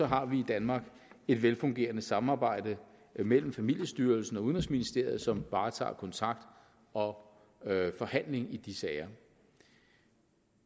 har vi i danmark et velfungerende samarbejde mellem familiestyrelsen og udenrigsministeriet som varetager kontakt og forhandling i de sager